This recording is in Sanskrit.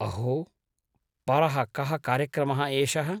अहो! परः कः कार्यक्रमः एषः ?